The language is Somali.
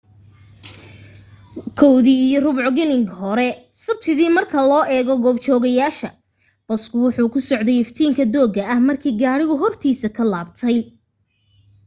1:15 galin gore sabtidii marka loo eego goob joogeyaasha basku wuxuu ku socday iftiinka dooga ah markii gaadhigu hortiisa ka laabay